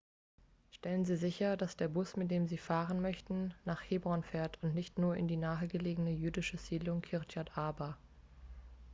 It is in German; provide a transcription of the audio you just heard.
stellen sie sicher dass der bus mit dem sie fahren möchten nach hebron fährt und nicht nur in die nahegelegene jüdische siedlung kirjat arba